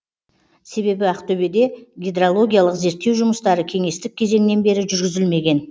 себебі ақтөбеде гидрологиялық зерттеу жұмыстары кеңестік кезеңнен бері жүргізілмеген